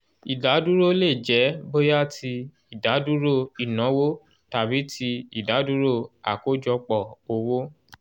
ìdádúró lè jẹ́ bóyá ti ìdádúró ìnáwó tàbí ti ìdádúró àkọ́jọpọ̀ owó